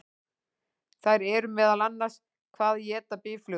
Þær eru meðal annars: Hvað éta býflugur?